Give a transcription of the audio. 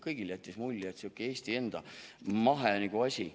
Kõigile jäi mulje, et sihuke Eesti enda mahe asi.